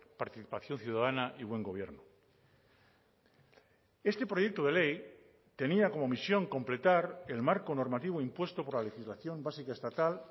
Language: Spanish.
participación ciudadana y buen gobierno este proyecto de ley tenía como misión completar el marco normativo impuesto por la legislación básica estatal